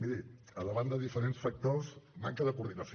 miri davant de diferents factors manca de coordinació